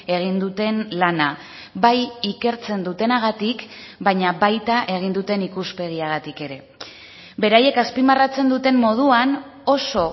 egin duten lana bai ikertzen dutenagatik baina baita egin duten ikuspegiagatik ere beraiek azpimarratzen duten moduan oso